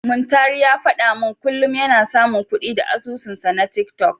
Muntari ya faɗa min kullum yana samun kuɗi da asusunsa na tiktok.